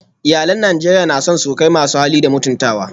Iyalan Najeriya na son surukai masu hali da mutuntawa